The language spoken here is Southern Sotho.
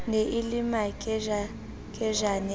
ne e le makejakejane a